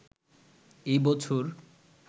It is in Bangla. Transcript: এ বছর